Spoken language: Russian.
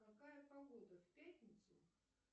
какая погода в пятницу